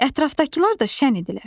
Ətrafdakılar da şən idilər.